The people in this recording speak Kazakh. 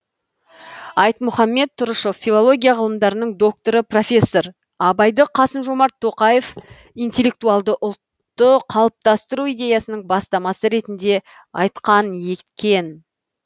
айтмұхамет тұрышев филология ғылымдарының докторы профессор абайды қасым жомарт тоқаев интеллектуалды ұлтты қалыптастыру идеясының бастамасы ретінде айтқан екен